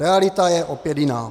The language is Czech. Realita je opět jiná.